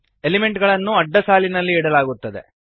element ಗಳನ್ನು ಅಡ್ಡಸಾಲಿನಲ್ಲಿ ಇಡಲಾಗುತ್ತದೆ